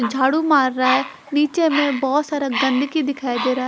झाड़ू मार रहा है नीचे में बहोत सारा गंदगी दिखाई दे रहा--